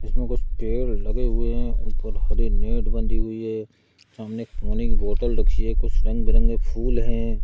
इसमें कुछ लगे हुए है। ऊपर हरी नेट बंधी हुई है। सामने पानी की बोतल रखी है। कुछ रंग बिरंगे फूल है।